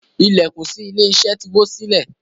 Ilẹkùn sí ilé iṣẹ ti wo silẹ.